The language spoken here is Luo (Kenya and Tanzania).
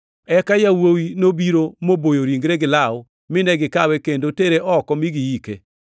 Eka yawuowi nobiro moboyo ringre gi law, mine gikawe kendo tere oko mi giike.